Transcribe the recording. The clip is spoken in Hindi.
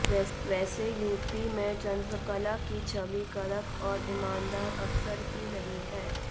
वैसे यूपी में चन्द्रकला की छवि कड़क और ईमानदार अफसर की रही है